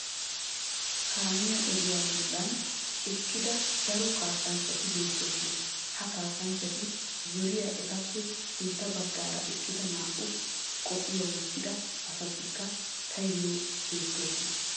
Kaamiya ogiya bollan eqqida daro kaassanchchati beettoosona. Ha kaassanchchati zoriya etappe sintta baggaara eqqida naa"u qophiya wottida asatikka tayyoo beettoosona.